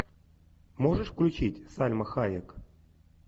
можешь включить сальма хайек